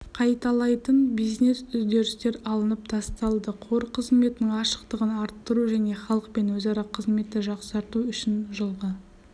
қайталайтын бизнес-үдерістер алынып тасталды қор қызметінің ашықтығын арттыру және халықпен өзара қызметті жақсарту үшін жылғы